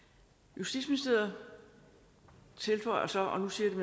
justitsministeriet tilføjer så og nu siger jeg